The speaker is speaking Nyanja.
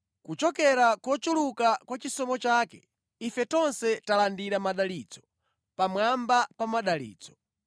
Kuchokera mʼkuchuluka kwa chisomo chake ife tonse talandira madalitso pamwamba pa madalitso.